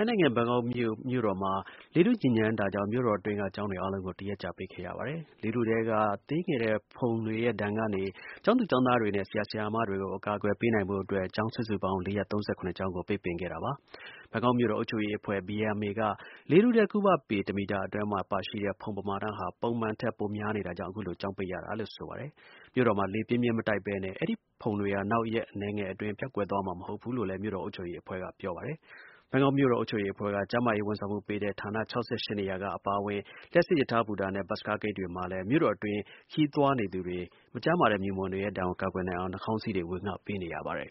ိုင်းနိုင်ငံ ဘန်ကောက်မြို့မှာ လေထု ညစ်ညမ်းတာကြောင့် မြို့တွင်းက ကျောင်းတွေ အားလုံးကို တရက်ကြာ ပိတ်ခဲ့ရပါတယ်။ လေထုထဲက ဖုန်တွေရဲ့ ဒဏ်ကနေ ကျောင်းသူ၊ ကျောင်းသားတွေနဲ့ ဆရာ၊ ဆရာမတွေကို အကာအကွယ်ပေးနိုင်ဖို့အတွက် ကျောင်း စုစုပေါင်း ၄၃၇ ကျောင်းကို ပိတ်ခဲ့တာပါ။ ဘန်ကောက် မြို့တော် အုပ်ချုပ်ရေးအဖွဲ့ (BMA) က လေထုထဲ ကုဗပေ တမီတာ အတွင်း ဖုန်ပါရှိမှု ပမာဏဟာ ပုံမှန်ထက် ပိုများနေတာကြောင့် အခုလို ကျောင်းပိတ်ရတာလို့ ဆိုပါတယ်။ မြို့တော်မှာ လေပြင်းပြင်း မတိုက်ပဲနဲ့ အဲဒီ ဖုန်တွေဟာ နောက် ရက်အနည်းငယ်အတွင်း ပျောက်ကွယ်သွားမှာ မဟုတ်ဘူးလို့လည်း မြို့တော် အုပ်ချုပ်ရေး အဖွဲ့က ပြောပါတယ်။ ဘန်ကောက်မြို့တော် အုပ်ချုပ်ရေးအဖွဲ့က ကျန်းမာရေး ဝန်ဆောင်မှုပေးတဲ့ ဌာန ၆၈ နေရာ အပါအဝင် လျှပ်စစ် ရထား ဘူတာနဲ့ ဘတ်စ်ကားဂိတ်တွေမှာလည်း မြို့တော်တွင်း ခရီးသွားနေသူတွေ မကျန်းမာတဲ့ မြူမှုန်တွေရဲ့ ဒဏ်ကို ကာကွယ်နိုင်အောင် နှာခေါင်းစည်းတွေ ဝေငှပေးနေရပါတယ်